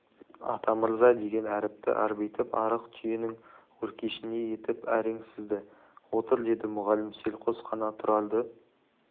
атамырза деген әріпті арбитып арық түйенің өркешіндей етіп әрең сызды отыр деді мұғалім селқос қана тұрарды